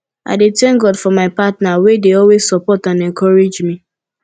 i dey thank god for my partner wey dey always support and encourage me